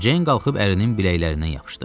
Ceyn qalxıb ərinin biləklərindən yapışdı.